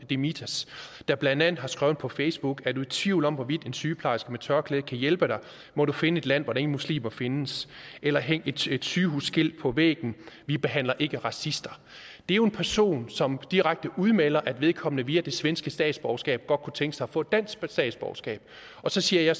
demirtas der blandt andet har skrevet på facebook er du i tvivl om hvorvidt en sygeplejerske med tørklæde kan hjælpe dig må du finde et land hvor der ingen muslimer findes eller hæng et sygehusskilt på væggen vi behandler ikke racister det er jo en person som direkte udmelder at vedkommende via det svenske statsborgerskab godt kunne tænke sig at få dansk statsborgerskab og så siger